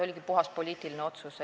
See oli puhas poliitiline otsus.